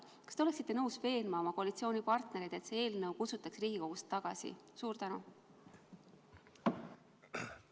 Kas te oleksite nõus veenma oma koalitsioonipartnereid, et see eelnõu tuleb Riigikogust tagasi kutsuda?